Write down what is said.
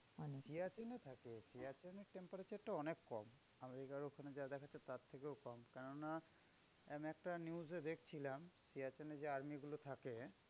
সিয়াচেনে থাকে সিয়াচেনের temperature টা অনেক কম। আমেরিকার ওখানে যা দেখাচ্ছে তার থেকেও কম। কেননা আমি একটা news এ দেখছিলাম সিয়াচেনে যে army গুলো থাকে